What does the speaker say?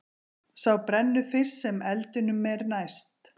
Sá brennur fyrst sem eldinum er næst.